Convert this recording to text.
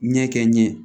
Ɲɛ kɛ n ɲɛ